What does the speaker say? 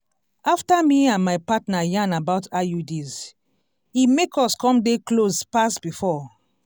after me and my partner yarn about iuds e make us come dey close pass before.